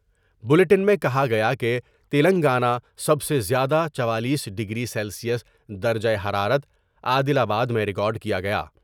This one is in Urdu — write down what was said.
بلیٹن میں کہا گیا کہ تلنگانہ سب سے زیادہ چوالیس ڈگری سیلسیس درجہ حرارت عادل آباد میں ریکارڈ کیا گیا ۔